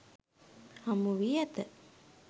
හමුවී ඇත